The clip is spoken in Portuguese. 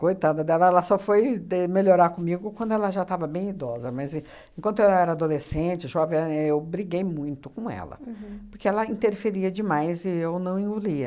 Coitada dela, ela só foi de melhorar comigo quando ela já estava bem idosa, mas e enquanto eu era adolescente, jovem, eu briguei muito com ela, porque ela interferia demais e eu não engolia.